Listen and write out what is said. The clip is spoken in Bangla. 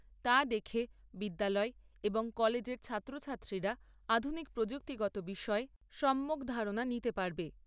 তা দেখে বিদ্যালয় এবং কলেজের ছাত্র ছাত্রীরা আধুনিক প্রযুক্তিগত বিষয়ে সম্যক ধারণা নিতে পারবে।